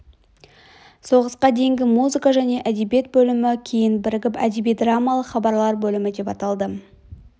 соғысқа дейінгі музыка және әдебиет бөлімі кейін бірігіп әдеби драмалық хабарлар бөлімі деп аталды